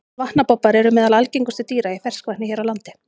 Vatnabobbar eru meðal algengustu dýra í ferskvatni hér á landi.